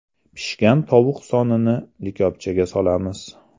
Pishgan tovuq sonini likopchaga solamiz.